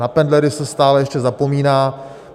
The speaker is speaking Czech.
Na pendlery se stále ještě zapomíná.